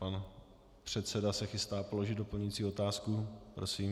Pan předseda se chystá položit doplňující otázku, prosím.